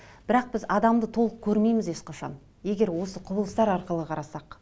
бірақ біз адамды толық көрмейміз ешқашан егер осы құбылыстар арқылы қарасақ